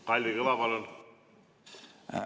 Kalvi Kõva, palun!